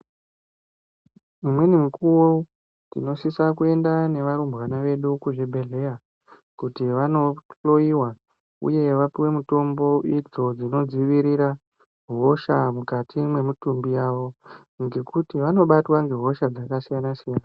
Imweni mukuwo tinosise kuenda nevarumbwana vedu zvibhedhlera kuti vanohloyiwa uye kuti vanopiwa mitombo idzo dzinodzivirira hosha mukati memutumbi yavo ngekuti vanobatwa nehosha dzakasiyana siyana.